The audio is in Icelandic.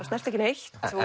snerti ekki neitt